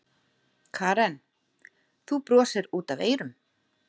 Karen: Þú brosir út af eyrum?